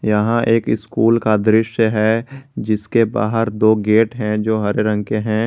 यहां एक स्कूल का दृश्य है जिसके बाहर दो गेट हैं जो हरे रंग के हैं।